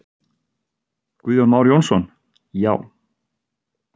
Guðjón Már Jónsson: Já.